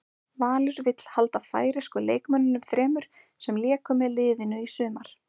Valur vill halda færeysku leikmönnunum þremur sem léku með liðinu í sumar.